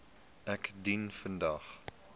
ek dien vandag